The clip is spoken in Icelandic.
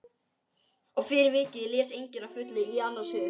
Og fyrir vikið les enginn að fullu í annars hug.